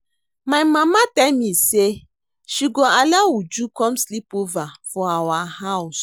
My mama tell me say she go allow Uju come sleep over for our house